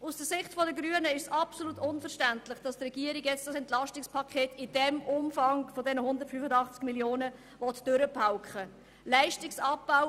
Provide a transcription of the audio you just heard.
Aus Sicht der Grünen ist es absolut unverständlich, dass die Regierung ein solches EP 2018 im Umfang dieser 185 Mio. Franken durchpauken will.